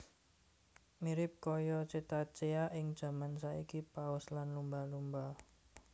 Mirip kaya cetacea ing jaman saiki paus lan lumba lumba